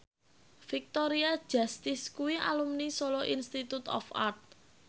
Victoria Justice kuwi alumni Solo Institute of Art